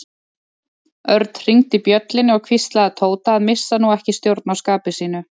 Örn hringdi bjöllunni og hvíslaði að Tóta að missa nú ekki stjórn á skapi sínu.